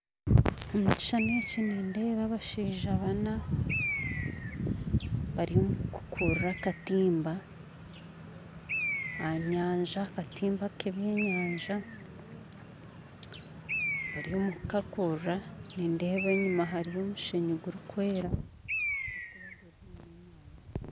Omukishushani eki nindeeba abashaija bana bariyo nibakurura akatimba aha nyanza, akatimba k'ebyenyanza, bariyo nibakakurura nindeeba enyima hariyo omushenyi gurikwera.